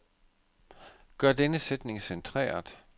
Gør denne sætning centreret.